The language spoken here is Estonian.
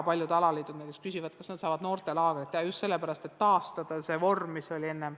Paljud alaliidud juba küsivad, kas nad saavad noortelaagreid teha – just sellepärast, et taastada varasem vorm.